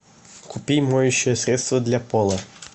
купи моющее средство для пола